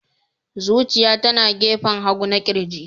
Zuciya tana gefen hagu na ƙirji.